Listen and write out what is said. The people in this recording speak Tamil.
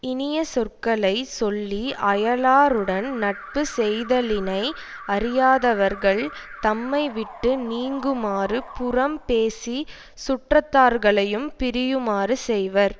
இனிய சொற்களை சொல்லி அயலாருடன் நட்பு செய்தலினை அறியாதவர்கள் தம்மைவிட்டு நீங்குமாறு புறம் பேசி சுற்றத்தார்களையும் பிரியுமாறு செய்வர்